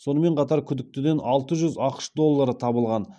сонымен қатар күдіктіден алты жүз ақш доллары табылған